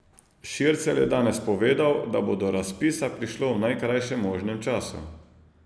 Šircelj je danes povedal, da bo do razpisa prišlo v najkrajšem možnem času.